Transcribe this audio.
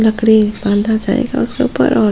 लकड़ी बांधा जाएगा उसके ऊपर और --